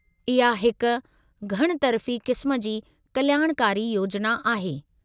इहा हिकु घणितरफ़ी क़िस्म जी कल्याणकारी योजना आहे।